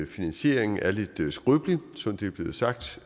finansieringen er lidt skrøbelig som det er blevet sagt